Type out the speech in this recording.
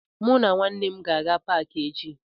Mụ na ụmụnne m ga-aga na paakị echi